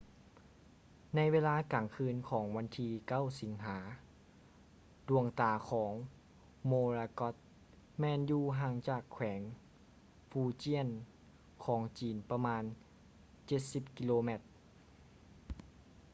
ໃນເວລາກາງຄືນຂອງວັນທີ 9 ສິງຫາ ດວງຕາຂອງ morakot ແມ່ນຢູ່ຫ່າງຈາກແຂວງ fujian ຂອງຈີນປະມານເຈັດສິບກິໂລແມັດ